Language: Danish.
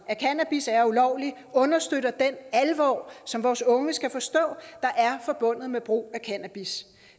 at cannabis er ulovligt understøtter den alvor som vores unge skal forstå er forbundet med brug af cannabis